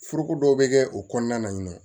Foroko dɔw bɛ kɛ o kɔnɔna na yen nɔ